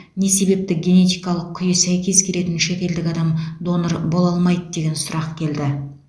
не себепті генетикалық күйі сәйкес келетін шетелдік адам донор бола алмайды деген сұрақ келді